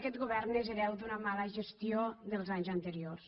aquest govern és hereu d’una mala gestió dels anys anteriors